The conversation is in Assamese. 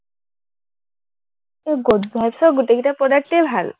এৰ গুড ভাইবচৰ গোটেইকেইটা product য়েই ভাল